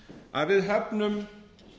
að við höfnum